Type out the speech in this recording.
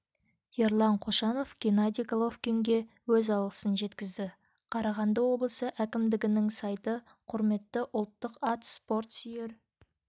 ерлан қошанов геннадий головкинге өз алғысын жеткізді қарағанды облысы әкімдігінің сайты құрметті ұлттық ат спорт сүйер